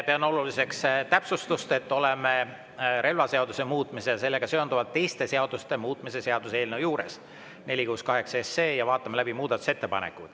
Pean oluliseks täpsustust, et me oleme relvaseaduse muutmise ja sellega seonduvalt teiste seaduste muutmise seaduse eelnõu 468 juures ja vaatame läbi muudatusettepanekuid.